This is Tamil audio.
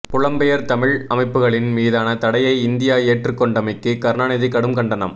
புலம்பெயர் தமிழ் அமைப்புக்களின் மீதான தடையை இந்தியா ஏற்றுக் கொண்டமைக்கு கருணாநிதி கடும் கண்டனம்